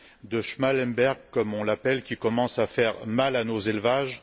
de Schmallenberg, comme on l'appelle, qui commence à faire mal à nos élevages.